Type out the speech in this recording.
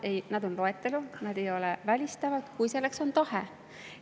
Nad on loetelus, nad ei ole üksteist välistavad, kui selleks on tahe.